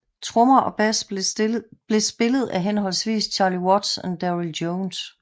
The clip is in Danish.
Trommer og bass blev spillet af henholdsvis Charlie Watts og Darryl Jones